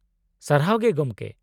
-ᱥᱟᱨᱦᱟᱣ ᱜᱮ ᱜᱚᱢᱠᱮ ᱾